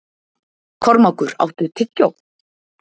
Kormákur, áttu tyggjó?